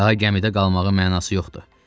Daha gəmidə qalmağın mənası yoxdur.